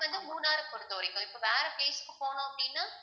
இப்ப வந்து மூணார் பொறுத்தவரைக்கும் இப்ப வேற place க்கு போனோம் அப்படின்னா